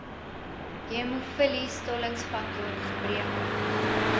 hemofilie stollingsfaktor gebreke